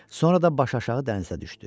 Sonra da başaşağı dənizə düşdü.